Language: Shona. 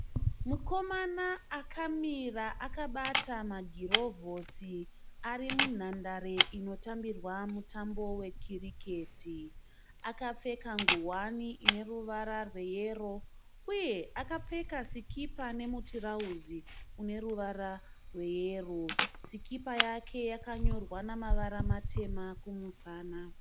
Mukomana akamira akabata magirofozi ari munhandare inotambirwa mutambo wekiriketi, akapfeka nguwani ine ruvara rweyero, sikipa nemutirauzi une zveyero, sikipa yake yakanyorwa nemavara matema kumusana.